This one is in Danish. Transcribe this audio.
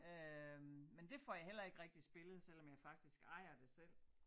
Øh men det får jeg heller ikke rigtig spillet selvom jeg faktisk ejer det selv